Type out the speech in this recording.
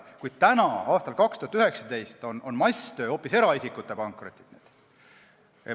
Kuid täna, aastal 2019, on masstöö hoopis eraisikute pankrotid.